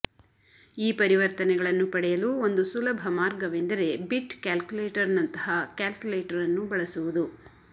ಈ ಪರಿವರ್ತನೆಗಳನ್ನು ಪಡೆಯಲು ಒಂದು ಸುಲಭ ಮಾರ್ಗವೆಂದರೆ ಬಿಟ್ ಕ್ಯಾಲ್ಕುಲೇಟರ್ನಂತಹ ಕ್ಯಾಲ್ಕುಲೇಟರ್ ಅನ್ನು ಬಳಸುವುದು